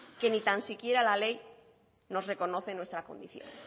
que ni tan siquiera la ley nos reconoce nuestra condición